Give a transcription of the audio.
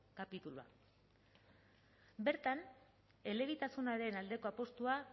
kapitulua bertan elebitasunaren aldeko apustua